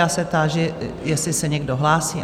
Já se táži, jestli se někdo hlásí?